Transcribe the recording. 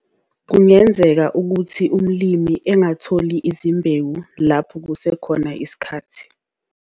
Kungenzeka ukuthi umlimi engatholi izimbewu lapho kusekhona isikhathi.